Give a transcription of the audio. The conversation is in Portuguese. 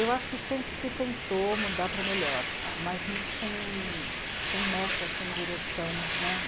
Eu acho que sempre se tentou mudar para melhor, mas muito sem, sem meta, sem direção, né.